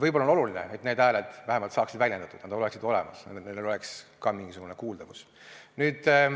Võib-olla on oluline, et need hääled saaksid vähemalt väljendatud, et nad oleksid olemas, neil oleks ka mingisugune kuuldavus.